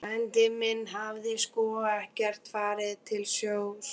Frændinn hafði sko ekkert farið til sjós.